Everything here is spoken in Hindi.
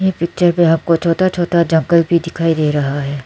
ये पिक्चर में आपको छोटा छोटा जंगल भी दिखाई दे रहा है।